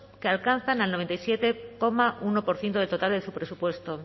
que alcanzan el noventa y siete coma uno por ciento del total de su presupuesto